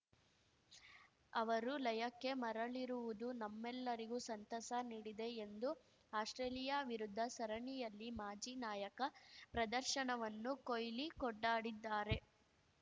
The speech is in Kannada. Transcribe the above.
ಅವರು ಲಯಕ್ಕೆ ಮರಳಿರುವುದು ನಮ್ಮೆಲ್ಲರಿಗೂ ಸಂತಸ ನೀಡಿದೆ ಎಂದು ಆಸ್ಪ್ರೇಲಿಯಾ ವಿರುದ್ಧ ಸರಣಿಯಲ್ಲಿ ಮಾಜಿ ನಾಯಕ ಪ್ರದರ್ಶನವನ್ನು ಕೊಹ್ಲಿ ಕೊಂಡಾಡಿದ್ದಾರೆ